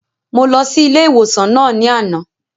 Mo lọ sí ilé ìwòsàn náà ní àná